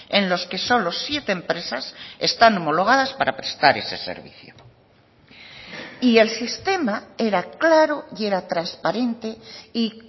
en los que solo siete empresas están homologadas para prestar ese servicio y el sistema era claro y era transparente y